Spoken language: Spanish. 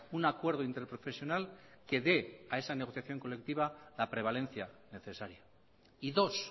un acuerdo interprofesional que de a esa negociación colectiva la prevalencia necesaria y dos